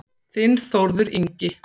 Þinn Þórður Ingi.